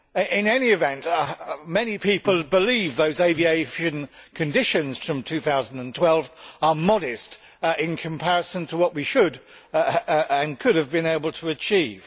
In any event, many people believe those aviation conditions from 2012 to be modest in comparison to what we should and could have been able to achieve.